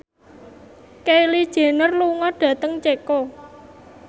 Kylie Jenner lunga dhateng Ceko